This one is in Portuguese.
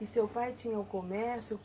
E seu pai tinha o comércio?